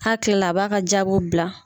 A hakila a b'a ka jaabiw bila.